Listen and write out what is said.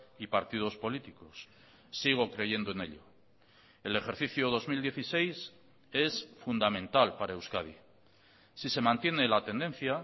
y partidos políticos sigo creyendo en ello el ejercicio dos mil dieciséis es fundamental para euskadi si se mantiene la tendencia